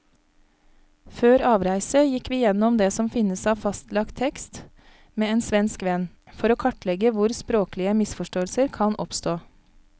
Før avreise gikk vi gjennom det som finnes av fastlagt tekst med en svensk venn, for å kartlegge hvor språklige misforståelser kan oppstå.